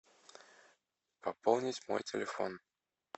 пополнить мой телефон